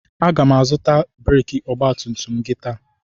Aga m azụta breekị ọgbatumtum gị taa.